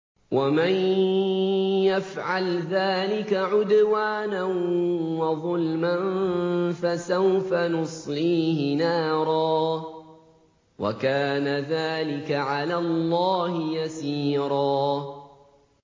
وَمَن يَفْعَلْ ذَٰلِكَ عُدْوَانًا وَظُلْمًا فَسَوْفَ نُصْلِيهِ نَارًا ۚ وَكَانَ ذَٰلِكَ عَلَى اللَّهِ يَسِيرًا